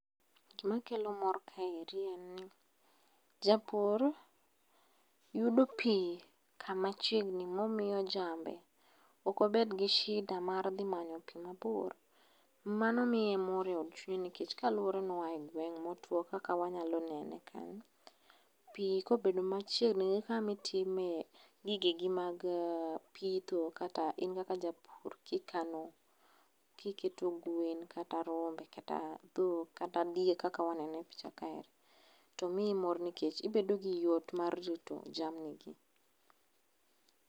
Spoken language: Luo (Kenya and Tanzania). Gima kelo mor kaeri en ni japur yudo pii kama chiegni momiyo jambe ok obed gi shida mar dhi manyo pii mabor, mano miye mor e od chunye nikech kaluore ni oaye gweng motiuo kaka wanyalo neno e kanyo .Pii kobedo machiegni gi kama itime gigeni mag pitho kata in kaka japur kikano, kiketo gwen ,kata rombe kata dhok kata diek kaka waneno e picha kae to miyo moro nikech ibedo gi yot mar rito jamni gi